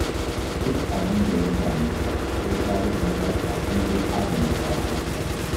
Duk abin da ya same ta sai ta rubuta shi a kundin adana bayananta